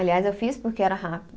Aliás, eu fiz porque era rápido.